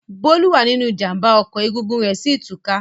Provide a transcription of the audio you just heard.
Bólú wà nínú ìjàmbá ọkọ̀ egungun rẹ̀ sí ì tú ká.